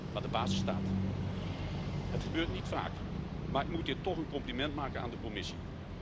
Maar de basis staat. Het gebeurt niet vaak, maar ik moet hier toch een compliment maken aan de Commissie.